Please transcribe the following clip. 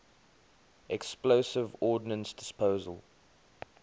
explosive ordnance disposal